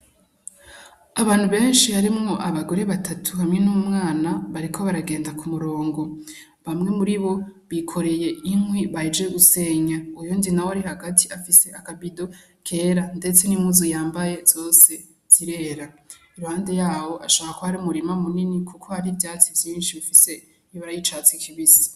Abantu benshi harimwo abagore batatu, hamwe n'umwana bariko baragenda k'umurongo bamwe muribo bikoreye inkwi bahejeje gusenya uyundi nawe ari hagati afise akabido kera ndetse n'impuzu yambaye zose zirera iruhande yaho hashobora kuba hari umurima munini kuko hari ivyatsi vyinshi bifise ibara ry'icatsi kibisi.